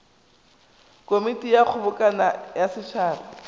komiti ya kgobokano ya setšhaba